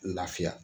Lafiya